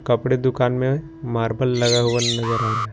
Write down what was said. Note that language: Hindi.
कपड़े दुकान में मार्बल लगा हुआ नजर आ रहा है।